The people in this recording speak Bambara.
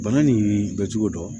Bana nin bɛ cogo dɔn